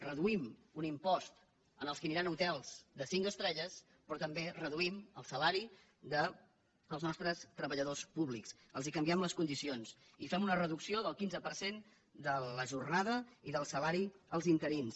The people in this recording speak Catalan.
reduïm un impost als que aniran a hotels de cinc estrelles però també reduïm el salari dels nostres treballadors públics els canviem les condicions i fem una reducció del quinze per cent de la jornada i del salari als interins